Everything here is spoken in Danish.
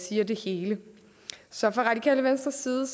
siger det hele så fra radikale venstres side